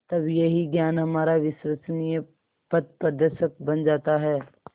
तब यही ज्ञान हमारा विश्वसनीय पथप्रदर्शक बन जाता है